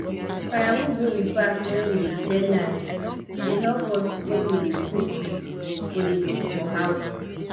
firewood wey we pack when we dey clear land dey help us when we dey cook for dey cook for house